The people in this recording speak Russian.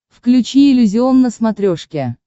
включи иллюзион на смотрешке